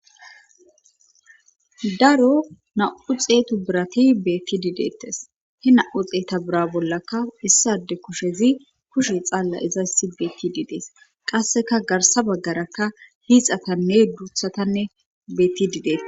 Daro nam'u xetu birati betidi detes he nam'u xetu bira bollaka issi ade kushezi kushey xala izan betishe de'es qaseka garsa bagara hixatane duthata betidi detes